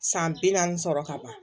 San bi naani sɔrɔ ka ban